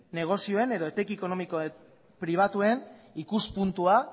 negozioen edo etekin ekonomiko pribatuen ikuspuntua